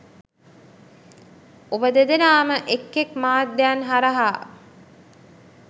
ඔබ දෙදෙනාම එක් එක් මාධ්‍යයන් හරහා